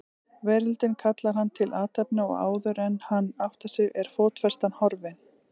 Veröldin kallar hann til athafna og áðuren hann áttar sig er fótfestan horfin.